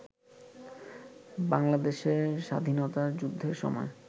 বাংলাদেশের স্বাধীনতা যুদ্ধের সময়